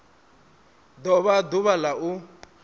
do vha ḓuvha la u